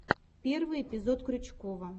первый эпизод крючкова